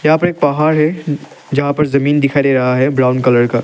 यहां पे एक पहाड़ है जहां पर जमीन दिखाई दे रहा है ब्राउन कलर का--